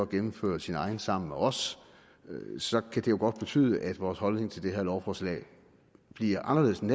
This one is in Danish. gennemfører sin egen politik sammen med os så kan det godt betyde at vores holdning til det her lovforslag bliver anderledes end